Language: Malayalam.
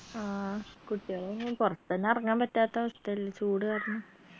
ആ കുട്ടിയാൾ പൊർത്തെന്നെ എറങ്ങാൻ പറ്റാത്ത അവസ്ഥല്ലേ ചൂട് കാരണം